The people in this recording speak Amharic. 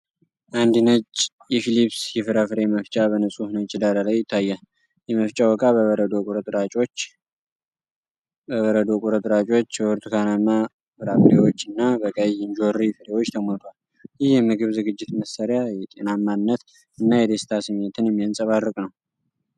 አንድ ነጭ ፊሊፕስ የፍራፍሬ መፍጫ በንፁህ ነጭ ዳራ ላይ ይታያል። የመፍጫው ዕቃ በበረዶ ቁርጥራጮች፣ በብርቱካናማ ፍራፍሬዎች እና በቀይ እንጆሪ ፍሬዎች ተሞልቷል። ይህ የምግብ ዝግጅት መሣሪያ የጤናማነት እና የደስታ ስሜትን የሚያንጸባርቅ ነው።